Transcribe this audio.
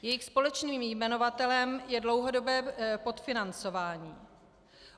Jejich společným jmenovatelem je dlouhodobé podfinancování.